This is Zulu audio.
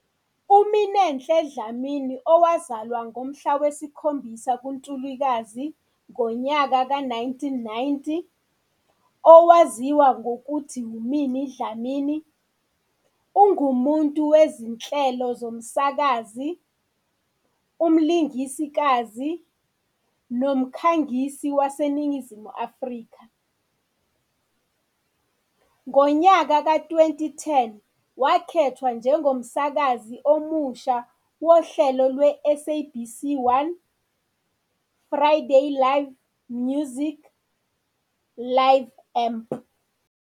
UMinenhle Dlamini, owazalwa ngomhlaka 7 kuNtulikazi 1990, owaziwa ngokuthi UMinnie Dlamini, ungumuntu wezinhlelo zehlelo zomsakazi, umlingikazi nomkhangisi waseNingizimu Afrika. Ngo-2010 wakhethwa njengomsakazi omusha wohlelo lwe-"I-SABC 1" Friday live-music Live Amp.